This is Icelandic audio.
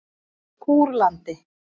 Kúrlandi